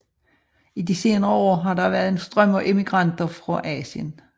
I de senere år har der været en strøm af immigranter fra Asien